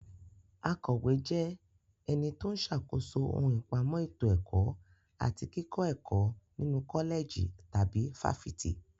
Akọ̀wé jẹ́ ẹni tó ń ṣàkóso ohun ìpamọ́ ètò ẹ̀kọ́ àti kíkọ́ ẹ̀kọ́ nínu kọ́lẹ̀jì tàbí fáfitì.